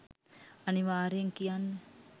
අනිවාර්යයෙන් කියන්න.